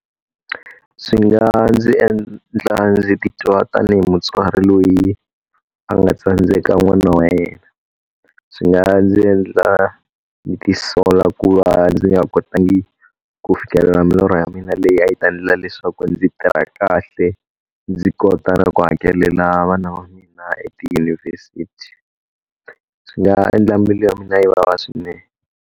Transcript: Swi nga ndzi endla ndzi titwa tanihi mutswari loyi a nga tsandzeka n'wana wa yena. Swi nga ndzi endla ndzi tisola ku va ndzi nga kotangi ku fikelela milorho ya mina leyi a yi ta endla leswaku ndzi tirha kahle, ndzi kota na ku hakelela vana va mina etiyunivhesiti. Swi nga endla mbilu ya mina yi vava swinene.